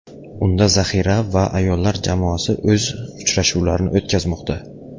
Unda zaxira va ayollar jamoasi o‘z uchrashuvlarini o‘tkazmoqda.